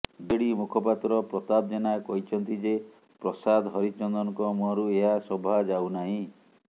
BJD ମୁଖପାତ୍ର ପ୍ରତାପ ଜେନା କହିଛନ୍ତି ଯେ ପ୍ରସାଦ ହରିଚନ୍ଦନଙ୍କ ମୁହଁରୁ ଏହା ଶୋଭାଯାଉନାହିଁ